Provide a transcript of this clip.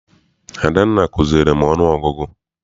Adanna kuziere m ọnụ ọgụgụ.